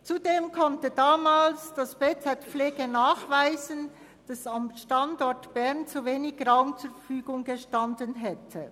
Zudem konnte damals das BZ Pflege nachweisen, dass am Standort Bern zu wenig Raum zur Verfügung gestanden hätte.